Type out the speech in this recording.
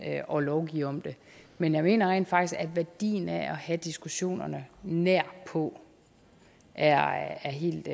og lovgive om det men jeg mener rent faktisk at værdien af at have diskussionerne nært på er helt